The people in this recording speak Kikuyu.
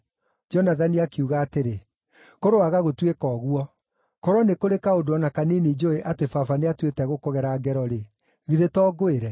Jonathani akiuga atĩrĩ, “Kũroaga gũtuĩka ũguo! Korwo nĩ kũrĩ kaũndũ o na kanini njũũĩ atĩ baba nĩatuĩte gũkũgera ngero-rĩ, githĩ to ngwĩre?”